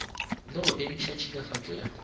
le go emiša tšhilafatšo ya